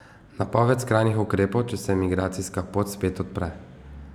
Napoved skrajnih ukrepov, če se migracijska pot spet odpre.